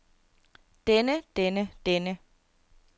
denne denne denne